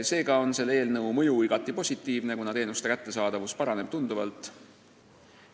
Seega on võimaliku seaduse mõju igati positiivne, kuna teenuste kättesaadavus paraneb tunduvalt.